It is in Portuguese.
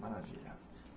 Maravilha.